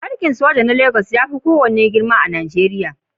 Barikin soja na Legas ya fi kowane girma a Najeriya.